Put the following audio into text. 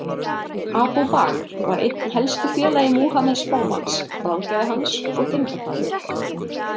Abu Bakr var einn helsti félagi Múhameðs spámanns, ráðgjafi hans og tengdafaðir.